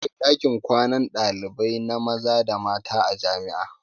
Akwai ɗakin kwanan ɗalibai na maza da mata a jami'a.